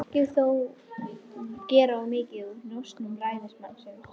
Ekki má þó gera of mikið úr njósnum ræðismannsins.